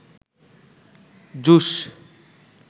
juice